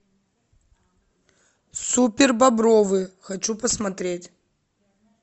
супер бобровы хочу посмотреть